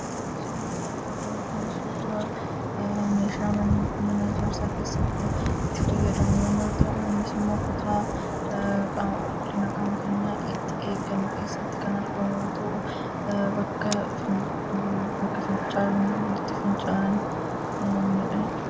Suuraan asirratti arginu kun suuraa meeshaa mana ijaarsaa keessatti itti fayyadamnu yoo ta'u, innis immoo kutaa qaama qulqullina qaama keenyaa itti eeggannu keessatti kan argamudha. Innis bakka qulqullina itti bahanidha.